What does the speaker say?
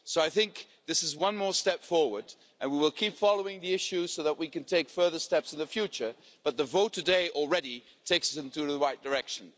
So this is one more step forward, and we will keep following the issue so that we can take further steps in the future, but the vote today already takes us in the right direction.